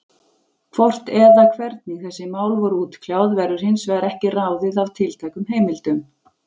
Hvort eða hvernig þessi mál voru útkljáð, verður hins vegar ekki ráðið af tiltækum heimildum.